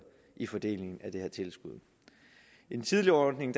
i fordelingen af det her tilskud i den tidligere ordning